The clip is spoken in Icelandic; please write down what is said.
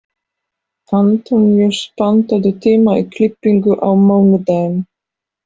Antóníus, pantaðu tíma í klippingu á mánudaginn.